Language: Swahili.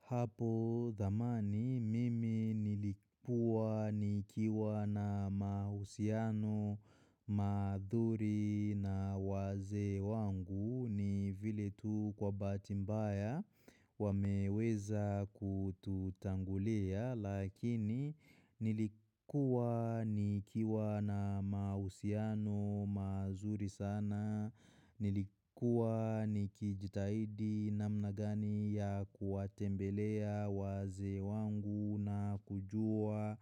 Hapo zamani mimi nilikua nikiwa na mahusiano mazuri na wazee wangu ni vile tu kwa bahati mbaya wameweza kututangulia. Lakini nilikua nikiwa na mahusiano mazuri sana, nilikua nikijitahidi namna gani ya kuwatembelea wazee wangu na kujua